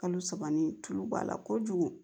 Kalo saba ni tulu b'a la kojugu